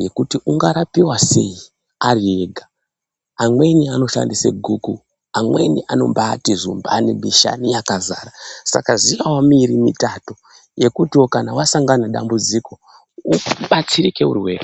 nekuti ungarapiwa sei ariega. Amweni anoshandise guku, amweni anombati zumbani mishani yakazara. Saka ziyawo miiri mitatu yekuti kana wasangana nedambudziko ubatsirike uri wega.